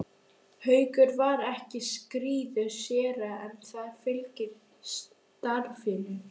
Haukur var ekki skírður séra en það fylgir starfinu.